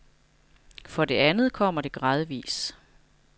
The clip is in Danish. For det andet kommer det gradvis.